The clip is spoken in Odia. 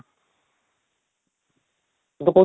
ଗୋଟେ